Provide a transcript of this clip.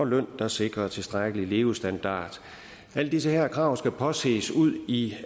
løn der sikrer tilstrækkelig levestandard alle de her krav skal påses ude i